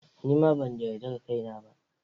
Ni ma ban yarda da kaina ba.